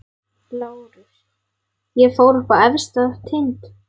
LÁRUS: Ég fór upp á efsta tind.